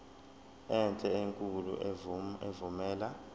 enhle enkulu evumela